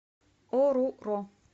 оруро